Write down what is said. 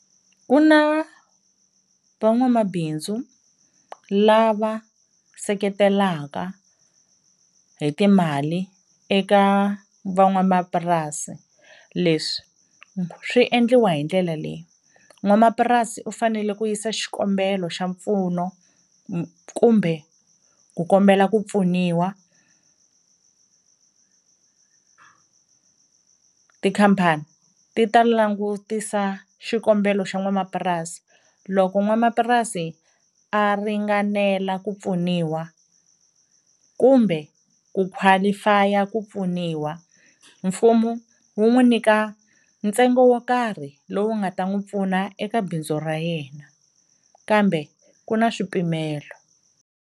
Ku na van'wamabindzu lava seketelaka hi timali eka van'wamapurasi, leswi swi endliwa hi ndlela leyi n'wamapurasi u fanele ku yisa xikombelo xa mpfuno kumbe ku kombela ku pfuniwa, tikhampani ti ta langutisa xikombelo xa n'wamapurasi loko n'wanamapurasi a ringanela ku pfuniwa kumbe ku qualify-a ku pfuniwa mfumo wu n'wu nyika ntsengo wo karhi lowu nga ta n'wi pfuna eka bindzu ra yena kambe ku na swipimelo.